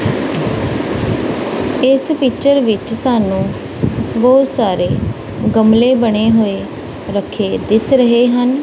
ਇਸ ਪਿਕਚਰ ਵਿੱਚ ਸਾਨੂੰ ਬਹੁਤ ਸਾਰੇ ਗਮਲੇ ਬਣੇ ਹੋਏ ਰੱਖੇ ਦਿਸ ਰਹੇ ਹਨ।